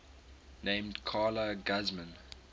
named carla guzman